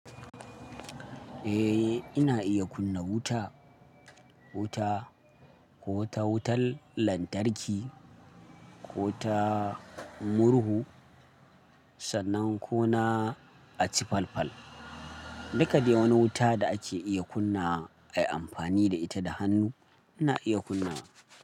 Eh, ina iya kunna wuta, wuta ko ta wutar lantarki ko ta murhu sannan ko na aci fal-fal. Duka dai wani wuta da ake iya kunnawa ai amfani da ita da hannu ina iya kunna.